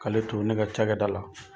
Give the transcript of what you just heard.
K'ale to ne ka ca kɛ da la